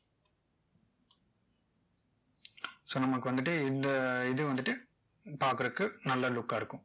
so நமக்கு வந்துட்டு இந்த இது வந்துட்டு பாக்கறதுக்கு நல்லா look ஆ இருக்கும்